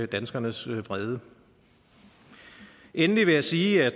danskernes vrede endelig vil jeg sige at